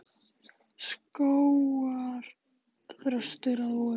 Skógarþröstur að vori.